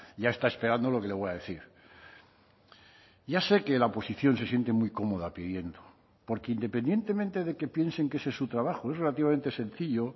ya está esperando lo que le voy a decir ya sé que la oposición se siente muy cómoda pidiendo porque independientemente de que piensen que ese es su trabajo es relativamente sencillo